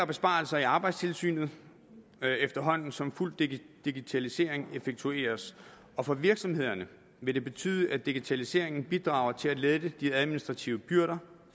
besparelser i arbejdstilsynet efterhånden som fuld digitalisering effektueres og for virksomhederne vil det betyde at digitaliseringen bidrager til at lette de administrative byrder